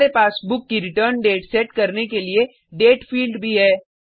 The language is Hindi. हमारे पास बुक की रिटर्न डेट सेट करने के लिए डेट फील्ड भी है